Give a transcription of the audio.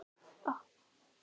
Lilja María og Guðmar Sveinn.